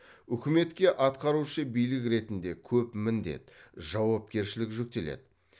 үкіметке атқарушы билік ретінде көп міндет жауапкершілік жүктеледі